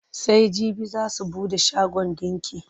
Sai jibi za su buɗe shagon ɗinki.